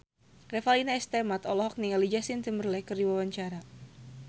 Revalina S. Temat olohok ningali Justin Timberlake keur diwawancara